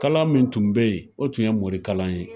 Kalan min tun be yen ,o tun ye morikalan ye.